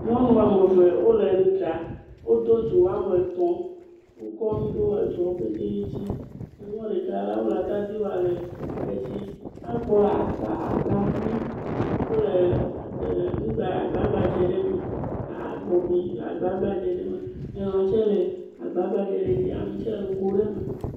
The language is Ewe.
nyɔnu ameve wóle ŋuɖam wodó dzo wametɔ̃ wókɔ ŋu ɖo edzoɔwo pɛtɛ dzi eŋuɔ ɖeka ya la wolɛ atadi wɔ lɛ edzi ekpo akpa akpavi wóle ŋuɖa agba gbadzɛ ɖe me abɔbi le agba gbadzɛ ɖe me nyilã tsɛ le agba gbadzɛ ɖe dzi ami tsɛ le ŋugo me